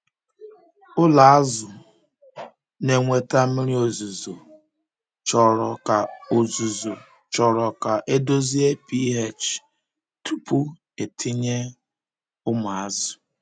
Ụlọ azụ um na-enweta mmiri ozuzo chọrọ ka ozuzo chọrọ ka e dozie pH tupu e tinye um ụmụ azụ.